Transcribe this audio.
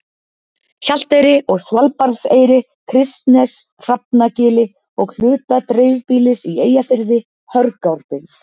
Hjalteyri og Svalbarðseyri, Kristnesi, Hrafnagili og hluta dreifbýlis í Eyjafirði, Hörgárbyggð